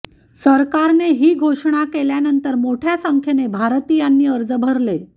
सरकारने ही घोषणा केल्यानंतर मोठ्या संख्येने भारतीयांनी अर्ज भरले